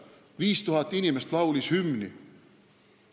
5000 inimest laulis hümni!